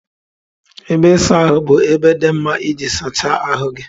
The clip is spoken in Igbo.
Ebe ịsa ahụ bụ ebe dị mma iji sachaa ahụ gị.